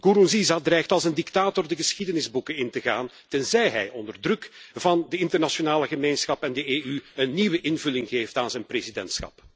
Nkurunziza dreigt als een dictator de geschiedenisboeken in te gaan, tenzij hij onder druk van de internationale gemeenschap en de EU een nieuwe invulling geeft aan zijn presidentschap.